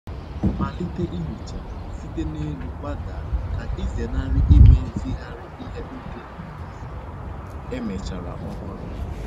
Malite ihicha site n'elu gbadaa ka ịzenarị imezigharị ihe ndị emechara ọhụrụ.